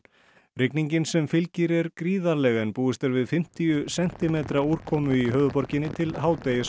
rigningin sem fylgir er gríðarleg en búist er við fimmtíu sentimetra úrkomu í höfuðborginni til hádegis